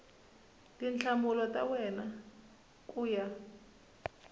tinhlamulo ta wena ku ya